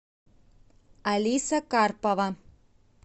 алиса карпова